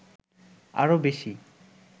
আরো বেশি